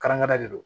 Karɛngari de do